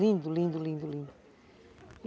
Lindo, lindo, lindo, lindo.